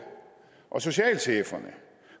og socialcheferne